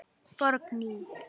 Borgný